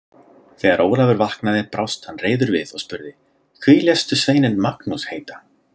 Þegar Ólafur vaknaði brást hann reiður við og spurði: Hví léstu sveininn Magnús heita?